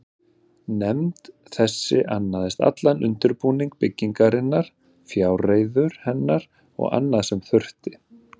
Nefnd þessi annaðist allan undirbúning byggingarinnar, fjárreiður hennar og annað, sem þurfti.